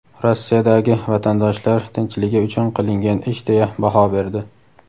Rossiyadagi vatandoshlar tinchligi uchun qilingan ish deya baho berdi.